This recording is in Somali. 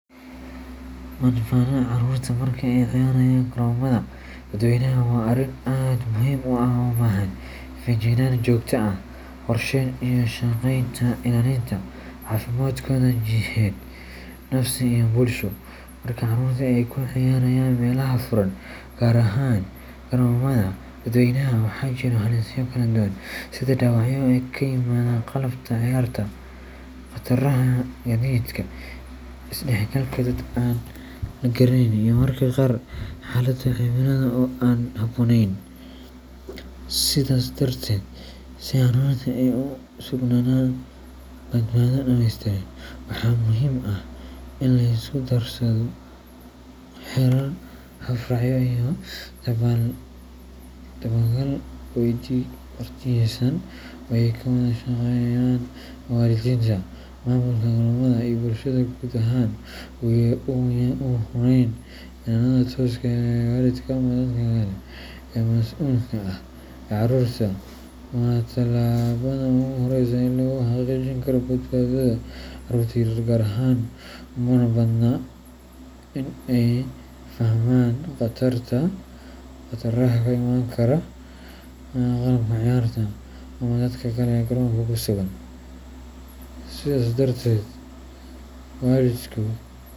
Badbaadada carruurta marka ay ciyaarayaan garoomada dadweynaha waa arrin aad muhiim u ah oo u baahan feejignaan joogto ah, qorsheyn, iyo ka shaqeynta ilaalinta caafimaadkooda jidheed, nafsi iyo bulsho. Marka carruurtu ay ku ciyaarayaan meelaha furan, gaar ahaan garoomada dadweynaha, waxaa jiro halisyo kala duwan sida dhaawacyo ka yimaada qalabka ciyaarta, khataraha gaadiidka, is dhexgalka dad aan la garanayn, iyo mararka qaar xaalado cimilada oo aan habboonayn. Sidaas darteed, si carruurtu ay ugu sugnaadaan badbaado dhammeystiran, waxaa muhiim ah in la isku darsado xeerar, hab raacyo iyo dabagal waqtiyeysan oo ay ka wada shaqeeyaan waalidiinta, maamulka garoomada, iyo bulshada guud ahaan. Ugu horreyn, ilaalada tooska ah ee waalidka ama dadka kale ee mas’uulka ka ah carruurta waa tallaabada ugu horreysa ee lagu xaqiijin karo badbaadada. Carruurta yar yar gaar ahaan uma badna in ay fahmaan khataraha ka imaan kara qalabka ciyaarta ama dadka kale ee garoonka ku sugan. Sidaas darteed, waalidku.